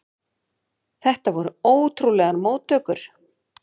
Þetta voru ótrúlegar móttökur.